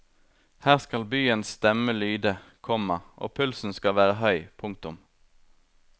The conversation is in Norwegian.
Her skal byens stemme lyde, komma og pulsen skal være høy. punktum